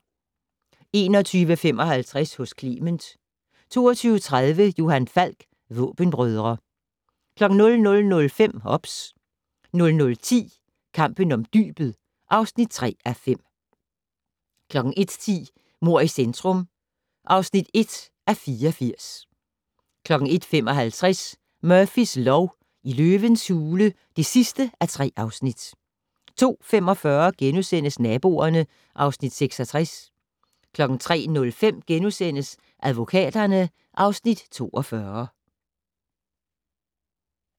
21:55: Hos Clement 22:30: Johan Falk: Våbenbrødre 00:05: OBS 00:10: Kampen om dybet (3:5) 01:10: Mord i centrum (1:84) 01:55: Murphys lov: I løvens hule (3:3) 02:45: Naboerne (Afs. 66)* 03:05: Advokaterne (Afs. 42)*